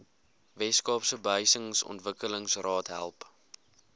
weskaapse behuisingsontwikkelingsraad help